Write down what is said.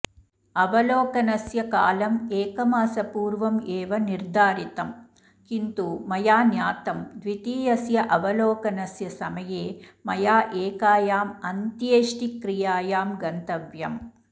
अवलोकनस्य कालम् एकमासपूर्वम् एव निर्धारितम् किन्तु मया ज्ञातं द्वितीयस्य अवलोकनस्य समये मया एकायाम् अन्त्येष्टिक्रियायां गन्तव्यम्